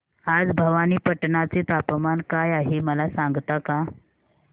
आज भवानीपटना चे तापमान काय आहे मला सांगता का